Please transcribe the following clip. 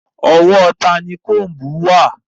Ọwọ́ tani òòyà wà?